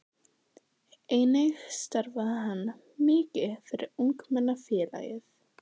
Einnig starfaði hann mikið fyrir Ungmennafélagið.